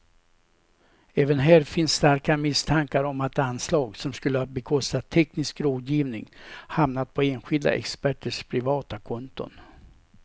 Även här finns starka misstankar om att anslag som skulle ha bekostat teknisk rådgivning hamnat på enskilda experters privata konton.